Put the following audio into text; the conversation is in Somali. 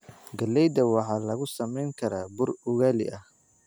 Galleyda waxaa lagu samayn karaa bur ugali ah.